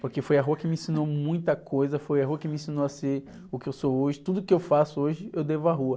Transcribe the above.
Porque foi a rua que me ensinou muita coisa, foi a rua que me ensinou a ser o que eu sou hoje, tudo que eu faço hoje eu devo à rua.